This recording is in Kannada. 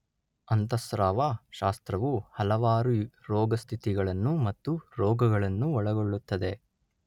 ಅಂತಃಸ್ರಾವ ಶಾಸ್ತ್ರವು ಹಲವಾರು ರೋಗಸ್ಥಿತಿಗಳನ್ನು ಮತ್ತು ರೋಗಗಳನ್ನು ಒಳಗೊಳ್ಳುತ್ತದೆ